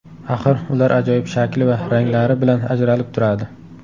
Axir, ular ajoyib shakli va ranglari bilan ajralib turadi.